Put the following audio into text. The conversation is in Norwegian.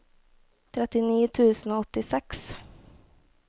trettini tusen og åttiseks